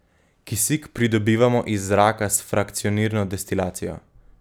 Kisik pridobivamo iz zraka s frakcionirno destilacijo.